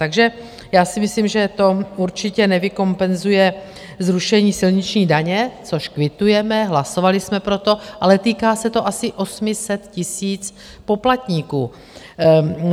Takže já si myslím, že to určitě nevykompenzuje zrušení silniční daně, což kvitujeme, hlasovali jsme pro to, ale týká se to asi 800 000 poplatníků.